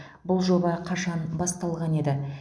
бұл жоба қашан басталған еді